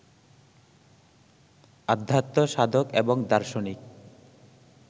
আধ্যাত্ম সাধক এবং দার্শনিক